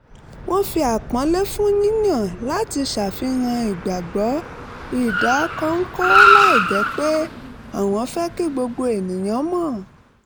wọ́n fi àpọ́nlé fún yíyàn láti ṣàfihàn ìgbàgbọ́ ìdákọ́ńkọ́ láìjẹ́ pé àwọn fẹ́ kí gbogbo ènìyàn mọ̀